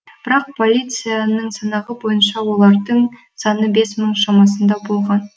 бірақ полицияның санағы бойынша олардың саны бес мың шамасында болған